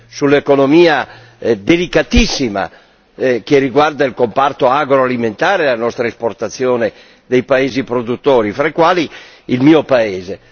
sull'economia delicatissima che riguarda il comparto agroalimentare della nostra esportazione di paesi produttori, fra i quali il mio paese.